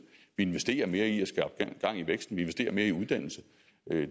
investerer mere i at skabe gang i væksten vi investerer mere i uddannelse